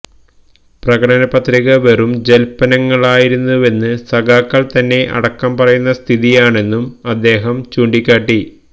പ്രകടന പത്രിക വെറും ജല്പനങ്ങളായിരുന്നുവെന്ന് സഖാക്കള് തന്നെ അടക്കം പറയുന്ന സ്ഥിതിയാണെന്നും അദ്ദേഹം ചൂണ്ടിക്കാട്ടി